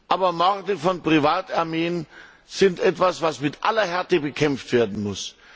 Aber Morde von Privatarmeen sind etwas, was mit aller Härte bekämpft werden muss.